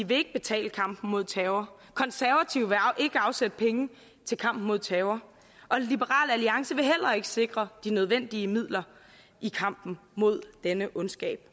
vil ikke betale kampen mod terror konservative vil ikke afsætte penge til kampen mod terror og liberal alliance vil heller ikke sikre de nødvendige midler i kampen mod denne ondskab